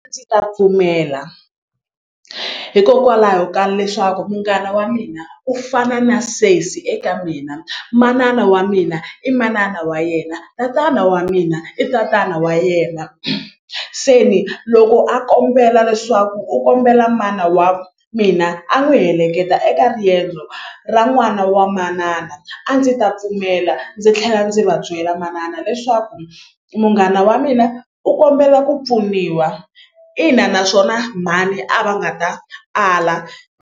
Ndzi ta pfumela hikokwalaho ka leswaku munghana wa mina u fana na sesi eka mina manana wa mina i manana wa yena tatana wa mina i tatana wa yena se ni loko a kombela leswaku u kombela mana wa mina a n'wi heleketa eka riendzo ra n'wana wa manana a ndzi ta pfumela ndzi tlhela ndzi va byela manana leswaku munghana wa mina u kombela ku pfuniwa ina naswona mhani a va nga ta ala.